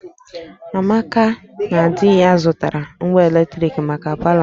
Amaka na di ya zụtara ngwa eletrik maka palọ ha